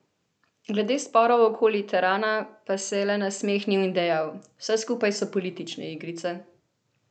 Glede sporov okoli terana pa se je le nasmehnil in dejal: "Vse skupaj so politične igrice.